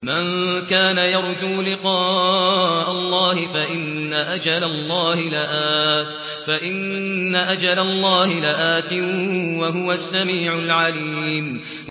مَن كَانَ يَرْجُو لِقَاءَ اللَّهِ فَإِنَّ أَجَلَ اللَّهِ لَآتٍ ۚ وَهُوَ السَّمِيعُ الْعَلِيمُ